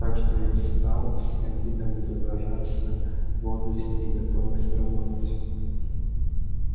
так что я встал всем видом изображаться бодрость и готовность работать